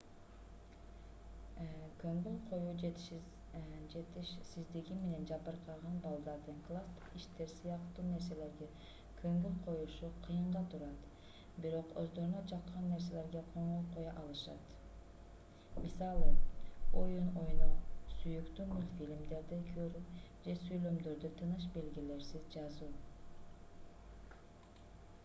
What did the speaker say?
көңүл коюу жетишсиздиги менен жабыркаган балдардын класстык иштер сыяктуу нерселерге көңүл коюшу кыйынга турат бирок өздөрүнө жаккан нерселерге көңүл коё алышат мисалы оюн ойноо сүйүктүү мультфильмдерди көрүү же сүйлөмдөрдү тыныш белгилерсиз жазуу